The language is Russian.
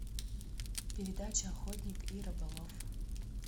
передача охотник и рыболов